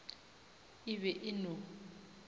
e be e e no